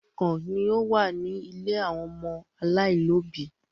Òrùkan ní ọ wá ní ílé àwọn ọmọ alailòbí